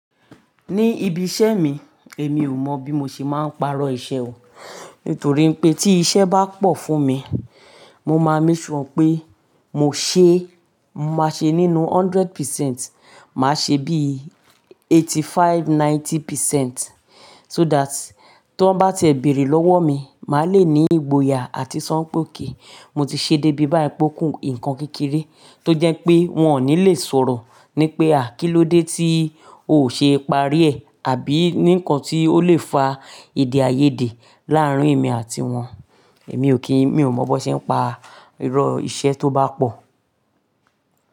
Ní ibi iṣẹ́ mi, èmi ò mọ̀ bí mo ṣe máa ń pàrọ̀ iṣẹ́ o. Nítorí pé tí iṣẹ́ bá pọ̀ fún mi, mo máa ń make sure pé mo ṣe, má ṣe nínú hundred percent, màá ṣe bí eighty five, ninety percent. So that tí wọ́n bá tiẹ̀ béèrè lọ́wọ́ mi, màá le ní ìgboyà àti sọ́ n pé ok. Mo ti ṣe dé bí báyìí p'ókun nǹkan kékeré tó jẹ́ pé wọ́n ò ní lè sọ̀rọ̀ ní pé à, kílódé tí ò ṣe é parí ẹ̀ àbí ní ǹkan tí ó lè fa èdè àìyedè láàárín èmi àti wọn. Èmi ò kí mi ò mọ̀ bó ṣe ń pa irọ́ iṣẹ́ tó bá pọ̀.